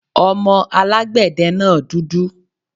Ọmọ alágbẹ̀de náà dúdú